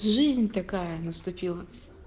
жизнь такая наступила